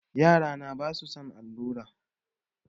Yarana basu son allura.